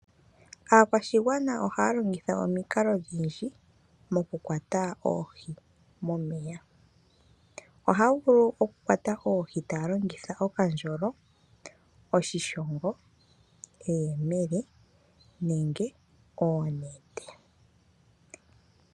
Aakwashigwna ohaya longitha omikalo odhindji moku kwata oohi momeya, ohaya vulu oku kwata oohi taya longitha okandjolo, oshishongo, eyemele nenge onete.